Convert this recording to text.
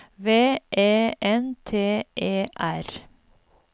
V E N T E R